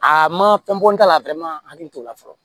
Aa ma fɛn bɔ n ta la n hakili t'o la fɔlɔ